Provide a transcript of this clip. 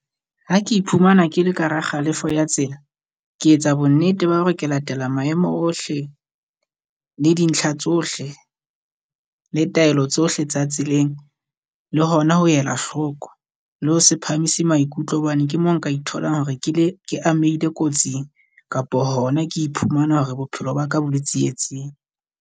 Ha ke iphumana ke le ka hara kgalefo ya tsela, ke etsa bonnete ba hore ke latela maemo ohle le dintlha tsohle le taelo tsohle tsa tseleng. Le hona ho ela hloko, le ho se phamise maikutlo hobane ke mo nka itholang hore ke le ke amehile kotsing. Kapo hona ke iphumana hore bophelo ba ka bo le tsietsing.